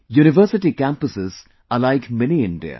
University campuses in a way are like Mini India